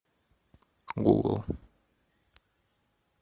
гугл